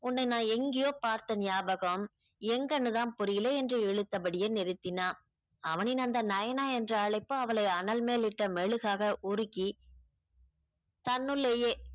உன்னை நான் எங்கேயோ பார்த்த ஞாபகம் எங்கன்னு தான் புரியல என்று இழுத்தபடியே நிறுத்தினான் அவனின் அந்த நயனா என்ற அழைப்பு அவளை அனல் மேல் இட்ட மெழுகாக உருகி தன்னுள்ளேயே